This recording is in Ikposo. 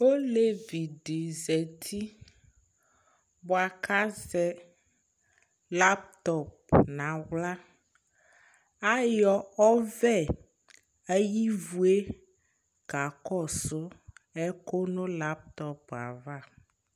Olevi dɩ zati bʋa kʋ azɛ laptɔp nʋ aɣla Ayɔ ɔvɛ ayʋ ivu yɛ kakɔsʋ ɛkʋ nʋ laptɔp yɛ ava